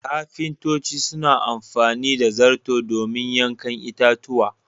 Ƙafintoci suna amfani da zarto domin yankin itatuwa.